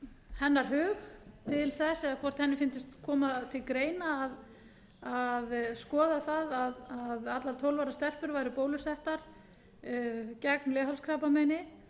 hennar hug til þess eða hvort henni fyndist koma til greina að skoða það að allar tólf ára stelpur væru bólusetja gegn leghálskrabbameini